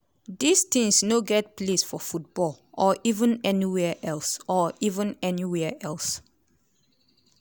racism in all forms need to dey condemned in di strongest possible terms.